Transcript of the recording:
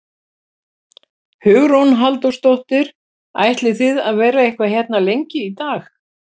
Hugrún Halldórsdóttir: Ætlið þið að vera eitthvað hérna lengi í dag?